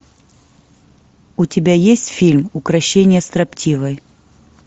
у тебя есть фильм укрощение строптивой